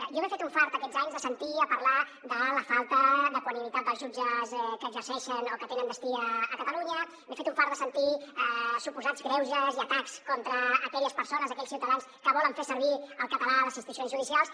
jo m’he fet un fart aquests anys de sentir a parlar de la falta d’equanimitat dels jutges que exerceixen o que tenen destí a catalunya m’he fet un fart de sentir suposats greuges i atacs contra aquelles persones aquells ciutadans que volen fer servir el català a les institucions judicials